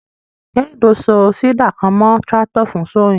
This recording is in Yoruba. Kehinde so seeder kan mọ tractor fun sowing.